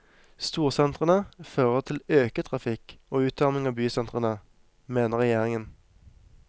Storsentrene fører til øket trafikk og utarming av bysentrene, mener regjeringen.